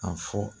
A fɔ